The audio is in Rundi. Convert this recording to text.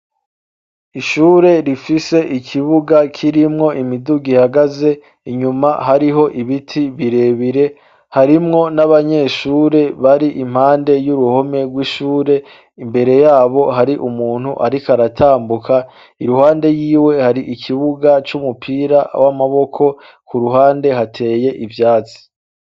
ishure rifise ikibuga k'irimwo imiduga ihagaze inyuma hariho ibiti birebire harimwo n'abanyeshure bari impande y'uruhome rw'ishure imbere yabo hari umuntu ariko aratambuka iruhande yiwe hari ikibuga cy'umupira w'amaboko ku ruhande hateye ibyatsi